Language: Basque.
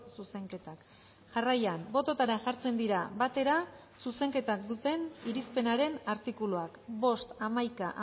zuzenketak jarraian bototara jartzen dira batera zuzenketak duten irizpenaren artikuluak bost hamaika